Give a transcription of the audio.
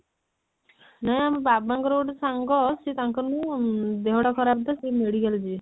ହେ ଆମ ବାବା ଙ୍କ ର ଗୋଟେ ସାଙ୍ଗ ସିଏ ତାଙ୍କ ର ନୁହଁ ଉଁ ଦେହ ଟା ଖରାପ ତ ସେ medical ଯିବେ